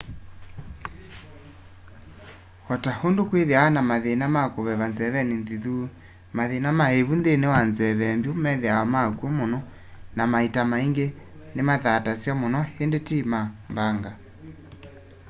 o ta undu kwithiawa na mathima ma kuveva nzeveni nzithu mathina ma ivu nthini wa nzeve mbyu methiawa makw'o muno na maita maingi nimathatasya muno indi ti ma mbanga